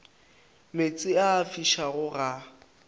meetse a a fišago ga